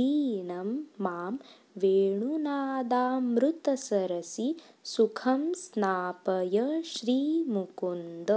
दीनं मां वेणुनादामृतसरसि सुखं स्नापय श्रीमुकुन्द